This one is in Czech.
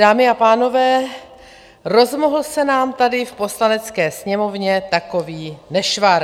Dámy a pánové, rozmohl se nám tady v Poslanecké sněmovně takový nešvar.